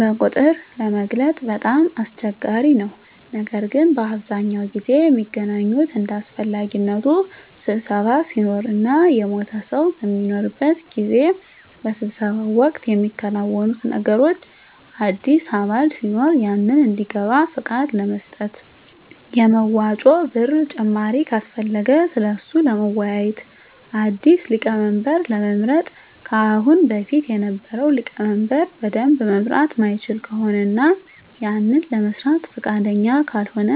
በቁጥር ለመግለፅ በጣም አስቸጋሪ ነው ነገር ግን በአብዛኛው ጊዜ ሚገናኙት እንደ አሰፈላጊነቱ ስብሰባ ሲኖር እና የሞተ ሰው በሚኖርበት ጊዜ። በስብሰባው ወቅት ሚከናወኑት ነገሮች አዲስ አባል ሲኖር ያንን እንዲገባ ፍቃድ ለመስጠት፣ የመዋጮ ብር ጭማሪ ካሰፈለገ ስለሱ ለመወያዬት፣ አዲስ ሊቀመንበር ለመምረጥ ከአሁን በፊት የነበረው ሊቀመንበር በደንብ መምራት ማይችል ከሆነ እና ያንን ለመስራት ፍቃደኛ ካልሆነ፣